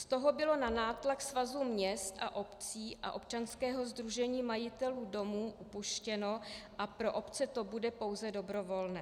Od toho bylo na nátlak Svazu měst a obcí a Občanského sdružení majitelů domů upuštěno a pro obce to bude pouze dobrovolné.